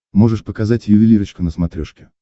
можешь показать ювелирочка на смотрешке